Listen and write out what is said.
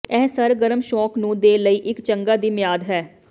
ਇਹ ਸਰਗਰਮ ਸ਼ੌਕ ਨੂੰ ਦੇ ਲਈ ਇੱਕ ਚੰਗਾ ਦੀ ਮਿਆਦ ਹੈ